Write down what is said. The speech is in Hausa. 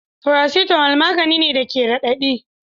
Paracetamol magani ne da ke radadi.